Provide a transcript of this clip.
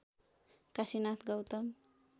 Kashinath Gautam